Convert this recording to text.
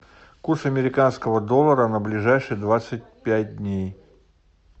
курс американского доллара на ближайшие двадцать пять дней